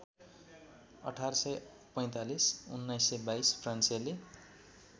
१८४५ १९२२ फ्रान्सेली